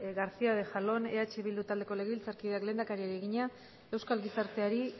garcía de jalón eh bildu taldeko legebiltzarkideak lehendakariari egina euskal gizarteari